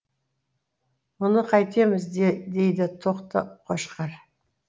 мұны қайтеміз дейді тоқты қошқар